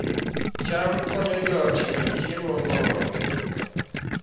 cham konyo joot yudo chiemo moromogi